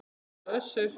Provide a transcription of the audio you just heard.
Ásdís og Össur.